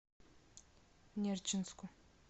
нерчинску